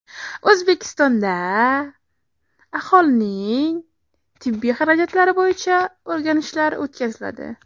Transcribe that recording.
O‘zbekistonda aholining tibbiy xarajatlari bo‘yicha o‘rganishlar o‘tkaziladi.